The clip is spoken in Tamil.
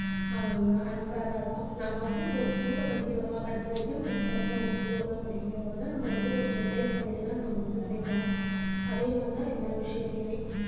அஹ் unfair ஆ இருக்கும் நம்ம வந்து ஒரு school ல படிக்கிறோமா கடைசி வரைக்கும் நம்ம பசங்க அந்த ஸ்கூல்ல தான் படிக்கணுங்கறத ஒரு decide பண்ணிட்டு தான் நாம வந்து சேர்க்கணும் அதே மாதிரி தான் எல்லா விஷயத்தையுமே